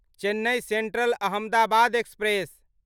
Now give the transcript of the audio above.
Chennai central Ahmedabad express